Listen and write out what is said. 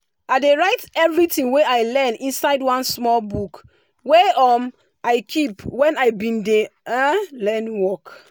i dey write everything wey i learn inside one small book wey um i keep when i been dey learn work